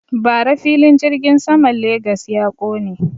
Bara filin jirgin saman Legas ya ƙone.